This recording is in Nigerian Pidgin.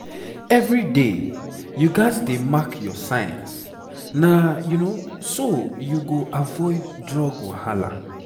every day you gats dey mark your signs. na so you go avoid drug wahala